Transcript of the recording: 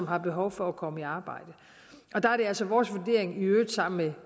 har behov for at komme i arbejde der er det altså vores vurdering i øvrigt sammen med